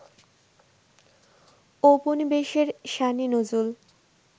ঔপনিবেশের শানে নজুল